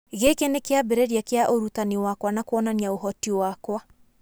Gĩkĩ nĩ kĩambĩrĩria kĩa ũrutani wakwa na kuonania ũhoti wakwa